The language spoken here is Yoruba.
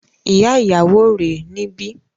Ìyá ìyàwó rè é níbí